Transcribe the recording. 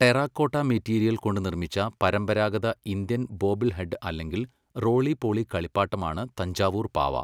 Terracotta material കൊണ്ട് നിർമ്മിച്ച പരമ്പരാഗത ഇന്ത്യൻ ബോബിൾഹെഡ് അല്ലെങ്കിൽ റോളി പോളി കളിപ്പാട്ടമാണ് തഞ്ചാവൂർ പാവ.